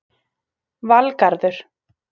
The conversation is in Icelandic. Valgarður